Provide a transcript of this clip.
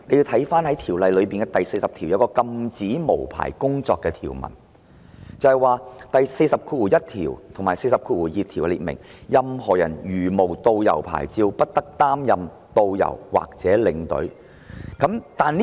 《條例草案》第40條"禁止無牌工作"，而第401及402條亦列明，任何人如無導遊或領隊牌照，不得擔任導遊或領隊。